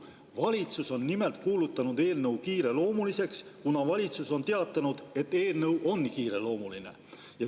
Valitsus on nimelt kuulutanud eelnõu kiireloomuliseks, kuna valitsus on teatanud, et eelnõu on kiireloomuline.